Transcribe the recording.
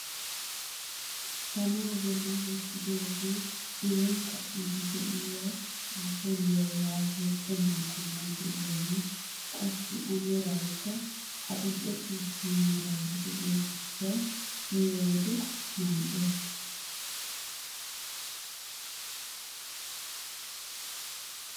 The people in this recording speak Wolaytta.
Tamaa bolli wottidoogee biron ka'iidi de'iyaa phuuphulliyaa yaagiyo qumaa qommoy de'iyaagee qassi amerakka adil'e ciishsha meraara de'iyoo giishshawu miyoo wode mal"ees.